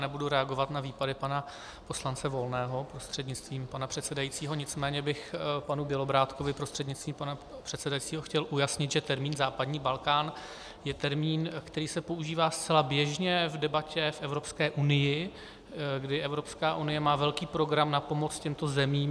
Nebudu reagovat na výpady pana poslance Volného prostřednictvím pana předsedajícího, nicméně bych panu Bělobrádkovi prostřednictvím pana předsedajícího chtěl ujasnit, že termín západní Balkán je termín, který se používá zcela běžně v debatě v Evropské unii, kdy Evropská unie má velký program na pomoc těmto zemím.